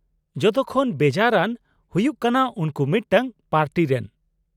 -ᱡᱷᱚᱛᱚᱠᱷᱚᱱ ᱵᱮᱡᱟᱨ ᱟᱱ ᱦᱩᱭᱩᱜ ᱠᱟᱱᱟ ᱩᱱᱠᱩ ᱢᱤᱫᱴᱟᱝ ᱯᱟᱨᱴᱤ ᱨᱮᱱ ᱾